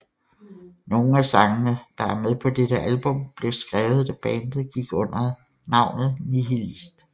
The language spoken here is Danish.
Nogle af sangene der er med på dette album blev skrevet da bandet gik under navnet Nihilist